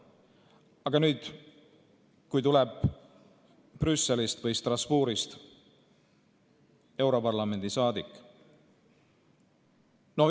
Aga nüüd tuleb Brüsselist või Strasbourgist europarlamendi saadik.